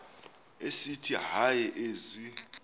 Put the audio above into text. esithi hayi ezi